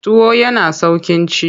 Tuwo yana sauƙin ci.